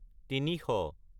তিনিশ